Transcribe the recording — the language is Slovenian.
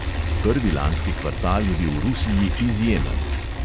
Prvi lanski kvartal je bil v rusiji izjemen.